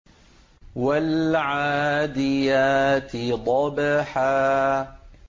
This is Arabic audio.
وَالْعَادِيَاتِ ضَبْحًا